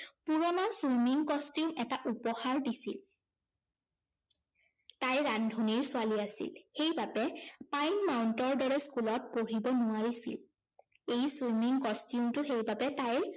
পুৰণা swimming costume এটা উপহাৰ দিছিল। তাই ৰান্ধনীৰ ছোৱালী আছিল, সেই বাবে পাইন মাউন্টৰ দৰে school ত পঢ়িব নোৱাৰিছিল। এই swimming costume টো সেইবাবে তাইৰ